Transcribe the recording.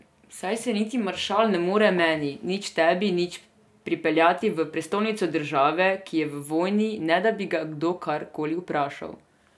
Saj se niti maršal ne more meni nič tebi nič pripeljati v prestolnico države, ki je v vojni, ne da bi ga kdo karkoli vprašal.